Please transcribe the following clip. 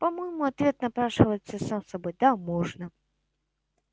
по-моему ответ напрашивается сам собой да можно